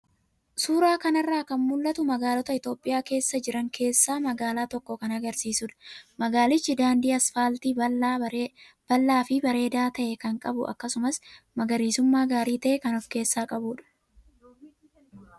Suuraa kanarraa kan mul'atu kun magaalota Itoophiyaa keessa jiran keessaa magaalaa tokko kan agarsiisudha. Magaalichi daandii asfaaltii bal'aa fi bareedaa ta'e kan qabu akkasumas magariisummaa gaarii ta'e kan of keessaa qabudha.